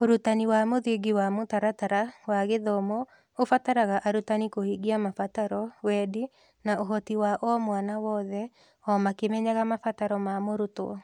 Ũrutani wa mũthingi wa mũtaratara wa gĩthomo ũbataraga arutani kũhingia mabataro, wendi, na ũhoti wa mwana o wothe, o makĩmenyaga mabataro ma mũrutwo.